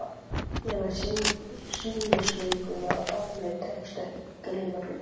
Ég verð sinnisveikur, ef mér tekst ekki að gleyma því.